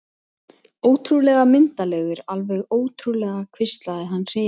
Ótrúlega myndarlegur, alveg ótrúlega hvíslaði hann hrifinn.